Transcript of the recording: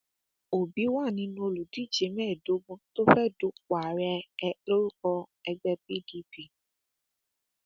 òbí wà nínú àwọn olùdíje mẹẹẹdógún tó fẹẹ dúpọ ààrẹ lórúkọ ẹgbẹ pdp